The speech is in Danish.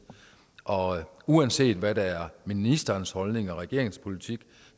og uanset hvad der er ministerens holdning og regeringens politik